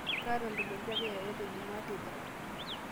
kaata ntumoriti ake yoyote ijumaa teipa